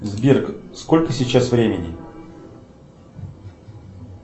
сбер сколько сейчас времени